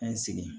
An ye sigi